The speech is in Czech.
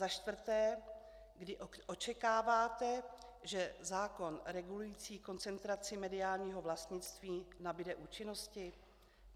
Za čtvrté, kdy očekáváte, že zákon regulující koncentraci mediálního vlastnictví nabude účinnosti?